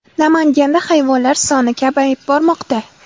Namanganda hayvonlar soni kamayib bormoqda .